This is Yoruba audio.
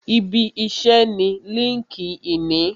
Ibi iṣẹ́ ni líńki-inì